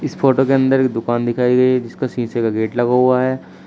इस फोटो के अंदर की दुकान दिखाई गई है जिसका शीशे का गेट लगा हुआ है।